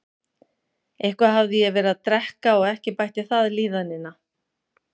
Eitthvað hafði ég verið að drekka og ekki bætti það líðanina.